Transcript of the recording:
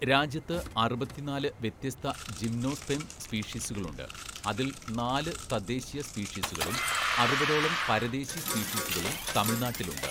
രാജ്യത്ത് അറുപത്തിനാല് വ്യത്യസ്ത ജിംനോസ്പേം സ്പീഷീസുകളുണ്ട്, അതിൽ നാല് തദ്ദേശീയ സ്പീഷീസുകളും അറുപതോളം പരദേശി സ്പീഷീസുകളും തമിഴ്‌നാട്ടിലുണ്ട്.